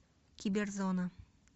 киберзона